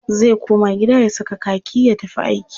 Zai koma gida ya saka kaki ya tafi aiki.